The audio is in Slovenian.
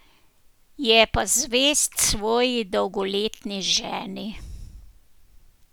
Je pa zvest svoji dolgoletni ženi.